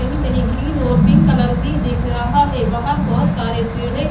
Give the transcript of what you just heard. कहीं-कहीं ग्रीन और pink colour भी दिख रहा है बाहर बहुत सारे पेड़े--